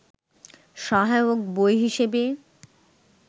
সহায়ক বই হিসেবে